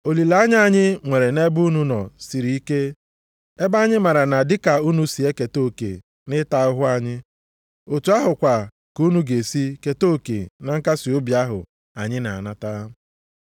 Olileanya anyị nwere nʼebe unu nọ sịrị ike, ebe anyị maara na dịka unu si eketa oke nʼịta ahụhụ anyị, otu ahụkwa ka unu ga-esi keta oke na nkasiobi ahụ anyị na-anata.